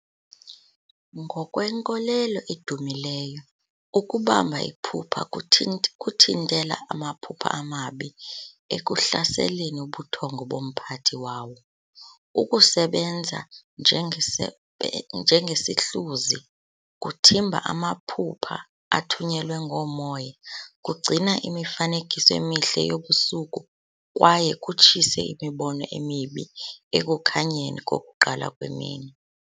Ngokwenkolelo edumileyo, ukubamba iphupha kuthint kuthintela amaphupha amabi ekuhlaseleni ubuthongo bomphathi wawo. Ukusebenza njengese njengesihluzi, kuthimba amaphupha athunyelwe ngoomoya, kugcina imifanekiso emihle yobusuku kwaye kutshise imibono emibi ekukhanyeni kokuqala kwemini.